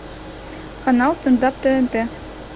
канал стендап тнт